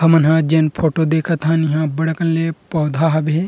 हमन हा जेन फोटो देखत हन इहा बड अकन ल पौधा हावे --